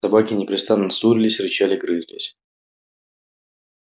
собаки непрестанно ссорились рычали грызлись